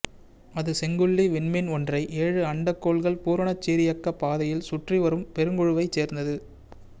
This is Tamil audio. அது செங்குள்ளி விண்மீன் ஒன்றை ஏழு அண்டக்கோள்கள் பூரணச் சீரியக்கப் பாதைகளில் சுற்றி வரும் பெருங்குழுவைச் சேர்ந்தது